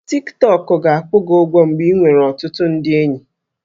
Tik Tọk ga-akwụ gị ụgwọ mgbe ị nwere ọtụtụ ndị enyi